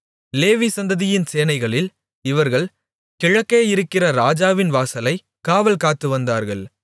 லேவி சந்ததியின் சேனைகளில் இவர்கள் கிழக்கேயிருக்கிற ராஜாவின் வாசலைக் காவல் காத்துவந்தார்கள்